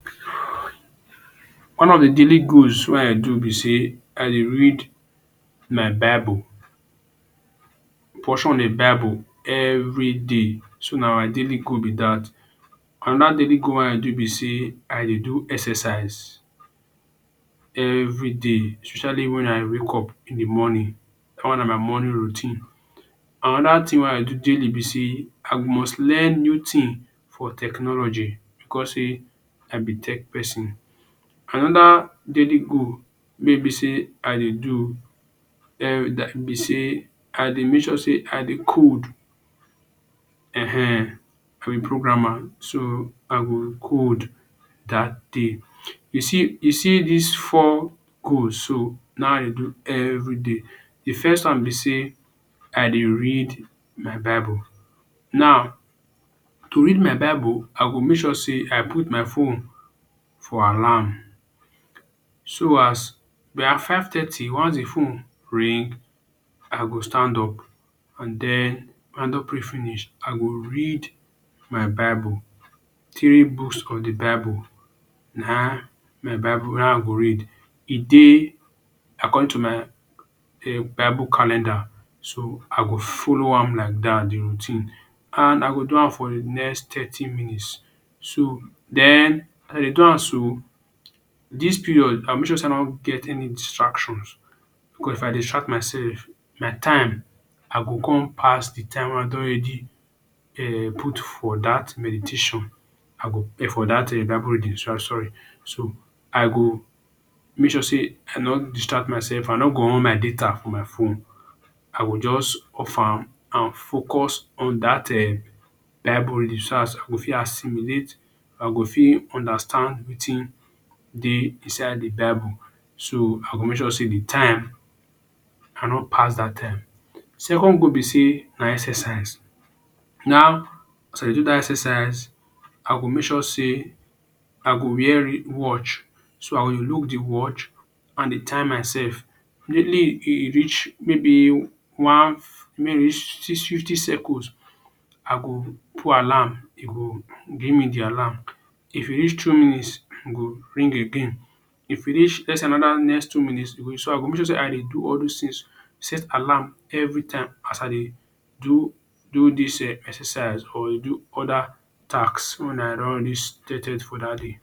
One of the daily goals wey i dey do be sey I dey read my bible. portion in bible every day. So, na my daily goal be dat. Another daily goal wey i do be sey I dey do exercise. everyday especially when i wake up in the morning. Dat one na morning routine. Another thing wey i dey do daily be sey i must learn new thing for technology because sey i be tech person. Another daily goal wey be sey i dey do em be sey i dey make sure sey I dey code um for a programmer, so i go code dat day. You see you see dis four goals so, na im i dey do every day. The first one be sey i dey read my bible. Now to read my bible, I go make sure sey i put my phone for alarm. So as by five thirty once the phone ring, I go stand up. And den don pray finish, I go read my bible. Take boost on the bible na my bible naim i go read. E dey according to my um bible calendar. So, I go follow am like dat di routine and i go do am for the next thirty minutes. So, den as I dey do am so, dis period i go make sure sey i no get any distraction because if i distract myself, my time i go con pass the time wey i don already um put for dat meditation. I go prepare for dat bible reading as well. so I go make sure sey i no distract myself. I no go on my data for my phone. I go just off am and focus on dat um bible reading so dat i go fit assimilate I go fit understand wetin dey inside the bible. So, i go make sure sey the time i no pass dat time. Second goal be sey na exercise. Now to do dat exercise, I go make sure sey I go wear watch. So, i go look the watch and dey time myself. Immediately e e reach maybe one when e reach fifty second, i go put alarm. E go bring the alarm. If e reach two minutes, e go ring again. If e reach yet another next two minutest. I go make sure sey I dey do all dos things. Set alarm every time as i dey do do dis um exercise or dey do other taks wen i don stated for dat day.